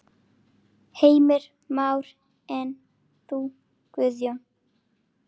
Heimir Már: En þú Guðjón?